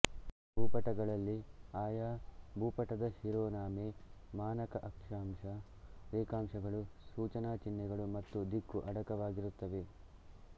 ಭೂಪಟಗಳಲ್ಲಿ ಆಯಾಭೂಪಟದ ಶಿರೋನಾಮೆ ಮಾನಕ ಆಕ್ಷಾಂಶ ರೇಖಾಂಶಗಳು ಸೂಚನಾಚಿಹ್ನೆಗಳು ಮತ್ತು ದಿಕ್ಕು ಅಡಕವಾಗಿರುತ್ತವೆ